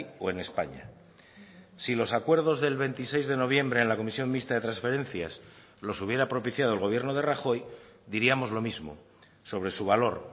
o en españa si los acuerdos del veintiséis de noviembre en la comisión mixta de transferencias los hubiera propiciado el gobierno de rajoy diríamos lo mismo sobre su valor